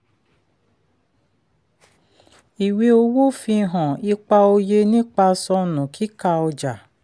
ìwé owó fi hàn ipa òye nípa sọnù kíkà ọjà.